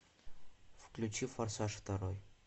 включи форсаж второй